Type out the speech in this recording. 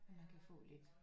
Man kan få lidt